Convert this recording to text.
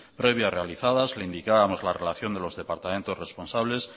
previas realizadas le indicábamos la relación de los departamentos responsables